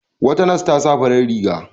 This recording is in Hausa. Wata nas ta sa farar riga.